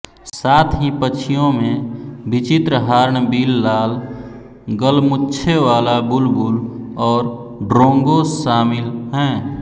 साथ ही पक्षियों में विचित्र हार्नबिल लाल गलमुच्छे वाला बुलबुल और ड्रोंगो शामिल हैं